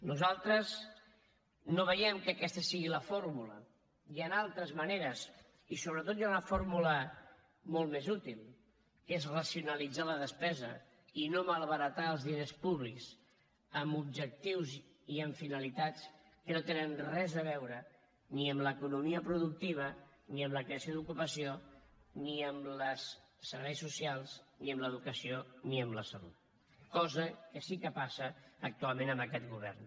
nosaltres no veiem que aquesta sigui la fórmula hi han altres maneres i sobretot hi ha una fórmula molt més útil que és racionalitzar la despesa i no malbaratar els diners públics amb objectius i amb finalitats que no tenen res a veure ni amb l’economia productiva ni amb la creació d’ocupació ni amb els serveis socials ni amb l’educació ni amb la salut cosa que sí que passa actualment amb aquest govern